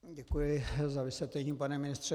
Děkuji za vysvětlení, pane ministře.